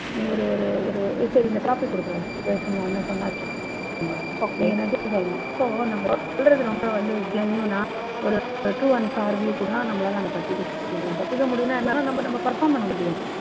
நீ ஒரு ஒரு ஒரு சரி இந்த topic குடுங்க. பேசணும்னு சொன்னாநு வெச்சுக்கோங்க okay நீங்க எடுத்து சொல்லணும். so நம்ப சொல்றது ரொம்ப வந்து genuine னா ஒரு true and fair view இருந்தால் தான் நம்பளால அதுலேந்து தப்பிக்க முடியும். தப்பிக்க முடியும்னா என்னன்னா நம்ப நம்ப perform பண்ண முடியும்.